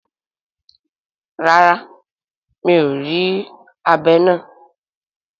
Rara, mi or ri abé naa